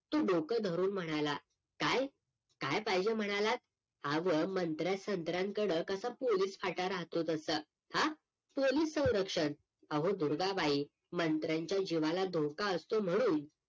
तो डोकं धरून म्हणाला काय? काय पाहिजे म्हणालात? आव मंत्र्या संत्रांकड कसं पोलीस फाटा राहतो तसं हा पोलीस सवरक्षण अहो दुर्गाबाई मंत्र्यांच्या जीवाला धोका असतो म्हणून